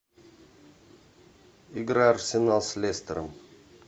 игра арсенал с лестером